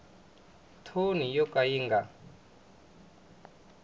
thoni yo ka yi nga